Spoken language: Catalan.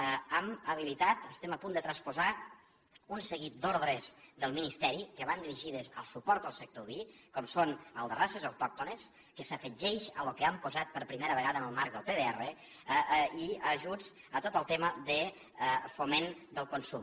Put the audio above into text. hem habilitat estem a punt de transposar un seguit d’ordres del ministeri que van dirigides al suport al sector oví com són la de races autòctones que s’afegeix al que hem posat per primera vegada en el marc del pdr i ajuts a tot el tema de foment del consum